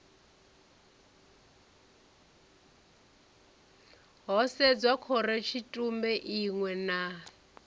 ho sedzwa khorotshitumbe iṋwe na